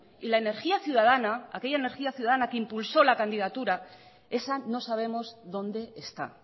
y la energía ciudadana aquella energía ciudadana que impulsó la candidatura esa no sabemos dónde está